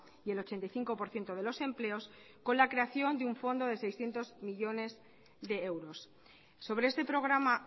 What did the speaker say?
y el ochenta y cinco por ciento de los empleos con la creación de un fondo de seiscientos millónes de euros sobre este programa